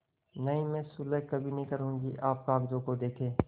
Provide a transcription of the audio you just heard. नहीं मैं सुलह कभी न करुँगी आप कागजों को देखें